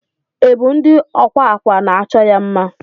Ibu ndi ọkwa akwa na achọ ya mma.